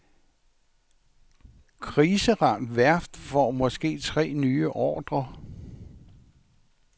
Kriseramt værft får måske tre nye ordrer.